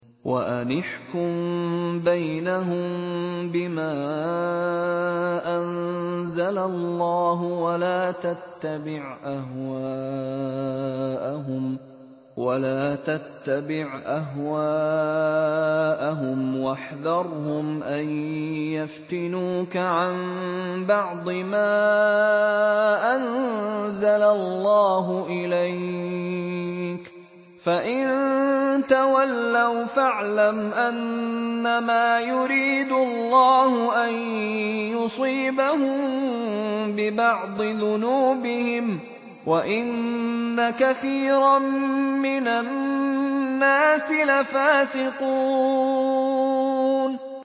وَأَنِ احْكُم بَيْنَهُم بِمَا أَنزَلَ اللَّهُ وَلَا تَتَّبِعْ أَهْوَاءَهُمْ وَاحْذَرْهُمْ أَن يَفْتِنُوكَ عَن بَعْضِ مَا أَنزَلَ اللَّهُ إِلَيْكَ ۖ فَإِن تَوَلَّوْا فَاعْلَمْ أَنَّمَا يُرِيدُ اللَّهُ أَن يُصِيبَهُم بِبَعْضِ ذُنُوبِهِمْ ۗ وَإِنَّ كَثِيرًا مِّنَ النَّاسِ لَفَاسِقُونَ